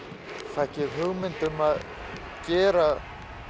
fékk ég hugmynd um að gera